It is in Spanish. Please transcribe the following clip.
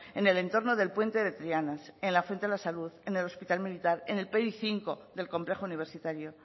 en el entorno del puente de triana en la fuente de la salud en el hospital militar en el del complejo universitario